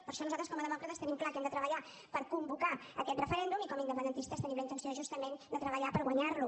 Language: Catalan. per això nosaltres com a demòcrates tenim clar que hem de treballar per convocar aquest referèndum i com a independentistes tenim la intenció justament de treballar per guanyar lo